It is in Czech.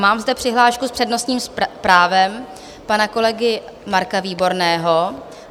Mám zde přihlášku s přednostním právem pana kolegy Marka Výborného.